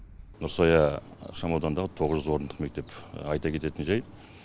нұрсая ықшамауданындағы тоғыз жүз орындық мектеп айта кететін жайт